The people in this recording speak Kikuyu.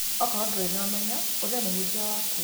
Akorwo ndũrĩ na ũmenyo ũrĩa mũhunjia waku